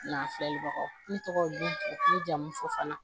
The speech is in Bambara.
N'a filalibagaw ne tɔgɔ don jamufɔfana